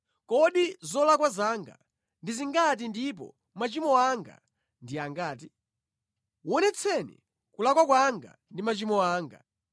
Kodi zolakwa zanga ndi zingati ndipo machimo anga ndi angati? Wonetseni kulakwa kwanga ndi machimo anga.